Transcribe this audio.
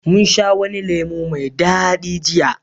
mun sha wani lemo mai dadi jiya